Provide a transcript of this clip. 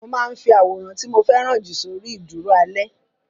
Mo máa ń fi àwòrán tí mo fẹ́ràn jù sórí ìdúró alẹ́.